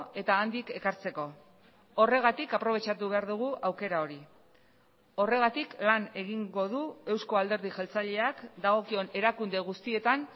eta handik ekartzeko horregatik aprobetxatu behar dugu aukera hori horregatik lan egingo du euzko alderdi jeltzaleak dagokion erakunde guztietan